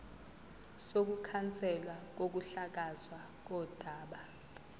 sokukhanselwa kokuhlakazwa kodaba